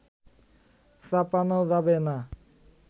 চাপানো যাবে না